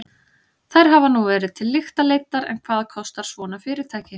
Þær hafa nú verið til lykta leiddar en hvað kostar svona fyrirtæki?